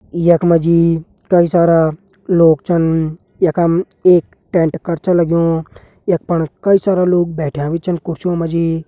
यख मा जी कई सारा लोग छन यखम एक टेंट कर छ लग्युं यख फण कई सारा लोग भी बैठ्यां छन कुर्सी मा जी।